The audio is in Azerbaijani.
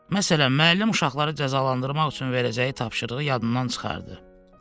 Məsələn, müəllim uşaqları cəzalandırmaq üçün verəcəyi tapşırığı yadından çıxartdı.